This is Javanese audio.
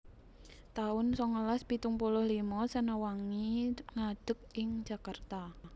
taun songolas pitung puluh limo Sena Wangi ngadeg ing Jakarta